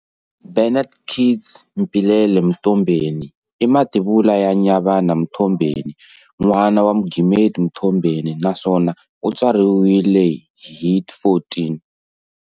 Bennet Keats Mpilele Mtombeni imativula ya Nyavana Mthombheni, n'wana Mugimeti Mthombeni, naswona u tswariwile hi 14